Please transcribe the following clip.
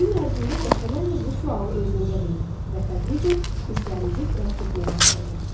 Gün ərzində dəfələrlə bu sualı özünüzə verin və tədricən hisslərinizi dərk etməyə başlayacaqsınız.